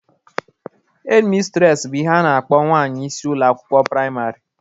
Hedmistres bụ ihe a na-akpọ nwanyị isi ụlọ akwụkwọ praịmarị